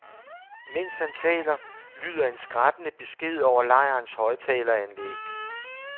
Mens han taler, lyder en skrattende besked over lejrens højtaleranlæg.